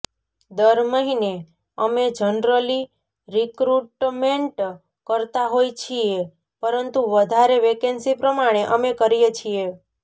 દર મહિને અમે જનરલી રીકરુટમેન્ટ કરતા હોય છીએ પરંતુ વધારે વેકેન્સી પ્રમાણે અમે કરીએ છીએ